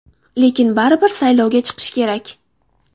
Lekin baribir saylovga chiqish kerak.